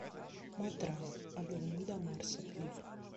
матранг от луны до марса клип